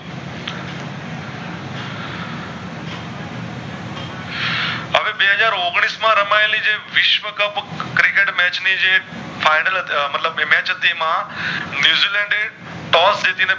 બે હાજર ઔગણીશ માં રમાયેલી જે વિશ્વ cup Cricket match ની જે final હતી મતલબ કે match હતી એમમાં ન્યૂઝીલેન્ડ એ Toss જીતી ને